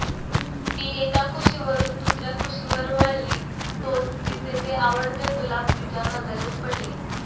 ती एका कुशीवरून दुसऱ्या कुशीवर वळली तोच तिचे ते आवडते गुलाब तिच्या नजरेस पडले